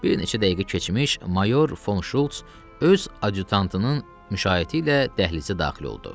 Bir neçə dəqiqə keçmiş, mayor Fon Şults öz adyutantının müşayiəti ilə dəhlizə daxil oldu.